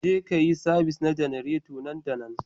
Jeka yi sabis na janareta na nan da nan